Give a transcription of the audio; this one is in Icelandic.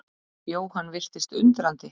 Jóhann virtist undrandi.